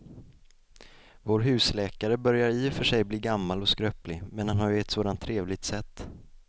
Vår husläkare börjar i och för sig bli gammal och skröplig, men han har ju ett sådant trevligt sätt!